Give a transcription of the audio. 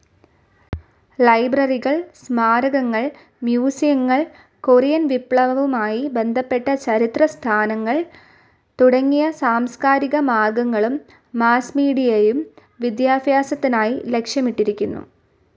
ലൈബ്രറികൾ സ്മാരകങ്ങൾ, മ്യൂസിയങ്ങൾ കൊറിയൻ വിപ്ലവുമായി ബന്ധപ്പെട്ട ചരിത്ര സ്ഥാനങ്ങൾ തുടങ്ങിയ സാംസ്ക്കാരിക മാർഗ്ഗങ്ങളും മാസ്മീഡിയയും വിദ്യാഭ്യാസത്തിനായി ലക്ഷ്യമിട്ടിരിക്കുന്നു.